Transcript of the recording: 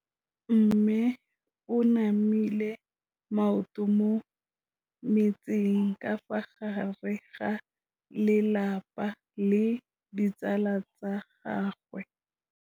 Mme o namile maoto mo mmetseng ka fa gare ga lelapa le ditsala tsa gagwe.